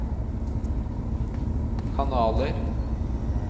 kanaler